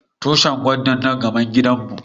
Tushin gwandan na gaban gidan mu.